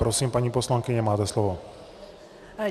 Prosím, paní poslankyně, máte slovo.